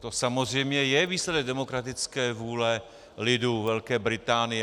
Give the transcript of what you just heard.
To samozřejmě je výsledek demokratické vůle lidu Velké Británie.